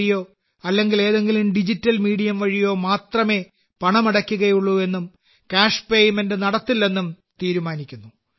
വഴിയോ അല്ലെങ്കിൽ ഏതെങ്കിലും ഡിജിറ്റൽ മീഡിയം വഴിയോ മാത്രമേ പണമടയ്ക്കുകയുള്ളൂ എന്നും ക്യാഷ് പേയ്മെന്റ് നടത്തില്ലെന്നും നിങ്ങൾ തീരുമാനിക്കുന്നു